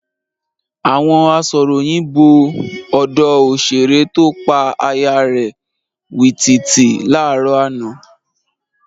Àwọn asọ̀ròyìn bo ọ̀dọ òṣèré tó pa aya rẹ̀ wìtìwìtì láàárọ̀ àná.